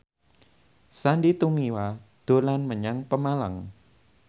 Sandy Tumiwa dolan menyang Pemalang